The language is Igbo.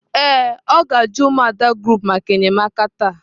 Ee, o ga-aju umuada group maka enyemaka taa.